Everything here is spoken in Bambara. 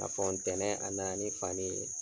Ka fɔ ntɛnɛn a nana ni fani ye.